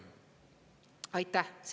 Aitäh!